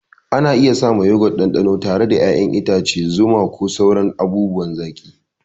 Ana iya sawa Yogurt ɗanɗano tare da ƴaƴan itace, zuma, ko sauran abubuwan zaki.